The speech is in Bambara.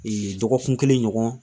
dɔgɔkun kelen ɲɔgɔn